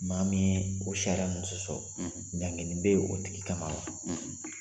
Maa min ye o sariyara sɔsɔ, ɲangili bɛ yen o tigi kama wa